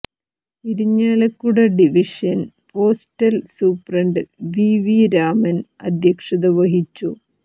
Irinjalakuda division postal superintendent V V Raman അധ്യക്ഷത വഹിച്ചു